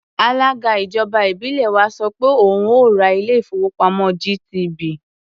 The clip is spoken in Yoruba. Alága ìjọba ìbílẹ̀ wa sọ pé òun ó ò ra ilé-ìfowópamọ́ GTB.